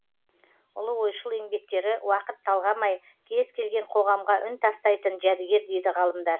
ұлы ойшыл еңбектері уақыт талғамай кез келген қоғамға үн тастайтын жәдігер дейді ғалымдар